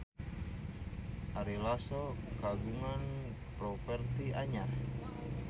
Ari Lasso kagungan properti anyar